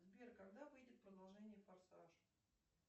сбер когда выйдет продолжение форсаж